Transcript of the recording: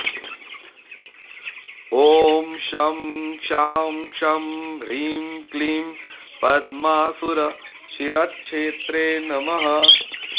ॐ शं शां षं ह्रीं क्लीं पद्मासुरशिरश्छेत्रे नमः